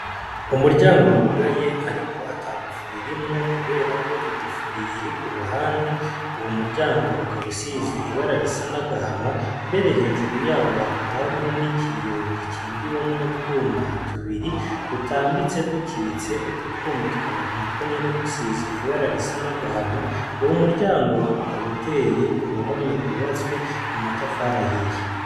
Umuryango wugaye ariko atagufuri irimwo kuberako igufuri iri kuruhande, uwo muryango ukaba usize ibara risa nagahama mbere hejuru yaho hakaba hariho nikiyo gikingiwe nutwuma tubiri dutambitse dukitse, utwo twuma tukaba natwo nyene dusize ibara risa n'agahama uwo muryango ukaba uteye kuruhome rwubatswe mu matafari ahiye.